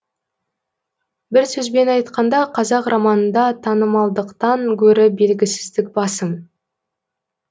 бір сөзбен айтқанда қазақ романында танымалдықтан гөрі белгісіздік басым